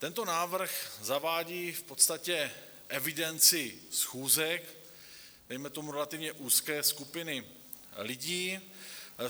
Tento návrh zavádí v podstatě evidenci schůzek, dejme tomu, relativně úzké skupiny lidí.